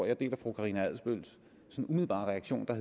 jeg deler fru karina adsbøls sådan umiddelbare reaktion der